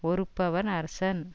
ஒறுப்பவன் அரசன்